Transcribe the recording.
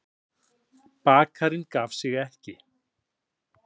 Bakarinn gaf sig ekki.